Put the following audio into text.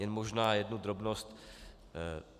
Jen možná jednu drobnost.